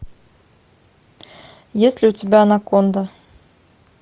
есть ли у тебя анаконда